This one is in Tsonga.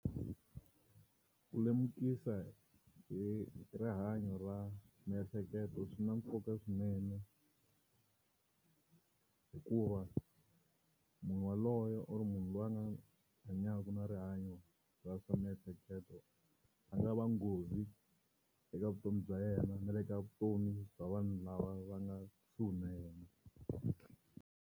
Ku lemukisa hi rihanyo ra miehleketo swi na nkoka swinene hikuva munhu yaloye or munhu loyi a nga hanyaka na rihanyo ra swa miehleketo a nga va nghozi eka vutomi bya yena na le ka vutomi bya vanhu lava va nga kusuhi na yena.